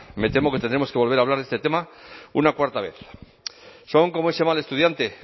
me temo que tendremos que volver a hablar de este tema una cuarta vez son como ese mal estudiante